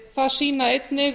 það sýna einnig